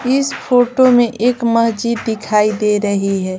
इस फोटो में एक मस्जिद दिखाई दे रही है।